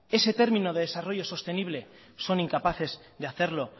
ese término de desarrollo sostenible son incapaces de hacerlo